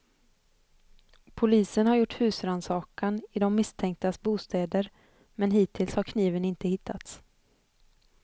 Polisen har gjort husrannsakan i de misstänktas bostäder men hittills har kniven inte hittats.